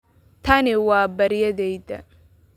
Tani waa baryadayda.